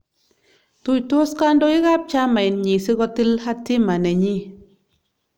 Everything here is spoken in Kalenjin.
Tuitos kandoik ab chamainyi si kotil hatima nenyi